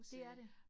Det er det